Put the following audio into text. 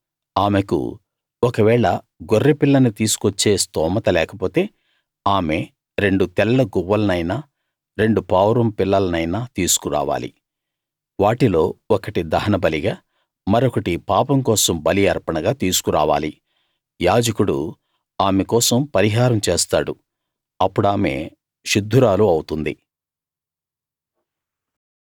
ఆమెకు ఒకవేళ గొర్రె పిల్లని తీసుకువచ్చే స్తోమత లేకపోతే ఆమె రెండు తెల్ల గువ్వలనైనా రెండు పావురం పిల్లలనైనా తీసుకు రావాలి వాటిలో ఒకటి దహనబలిగా మరొకటి పాపంకోసం బలి అర్పణగా తీసుకు రావాలి యాజకుడు ఆమె కోసం పరిహారం చేస్తాడు అప్పుడామె శుద్ధురాలు అవుతుంది